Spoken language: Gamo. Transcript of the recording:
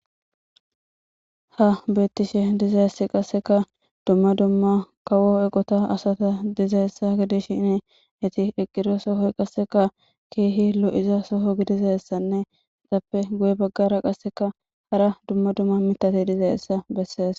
Ha beettishe dizayssi qasseka dumma dumma kawo eqota asata dizayessa gidishinee eti eqiro sohoy qasseka keehi lo'iza soho gidizayssanne etappe goye baggara qasseka hara dumma dumma mitate dizayessa bessees.